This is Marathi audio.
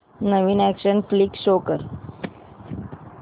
नवीन अॅक्शन फ्लिक शो कर